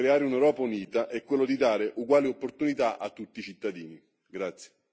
L'unico modo per creare un'Europa unita è quello di dare uguali opportunità a tutti i cittadini.